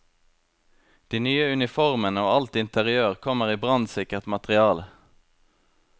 De nye uniformene og alt interiør kommer i brannsikkert materiale.